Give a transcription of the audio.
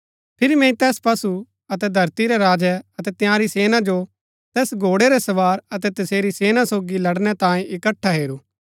फिरी मैंई तैस पशु अतै धरती रै राजै अतै तंयारी सेना जो तैस घोड़ै रै सवार अतै तसेरी सेना सोगी लड़नै तांयें इकट्ठा हेरू